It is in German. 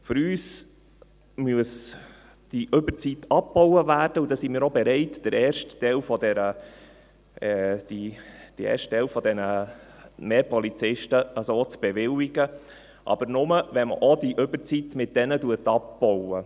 Unserer Meinung nach muss diese Überzeit abgebaut werden, und da sind wir auch bereit, den ersten Teil dieses Mehrs an Polizisten zu bewilligen, aber nur, wenn man damit auch die Überzeit abbaut.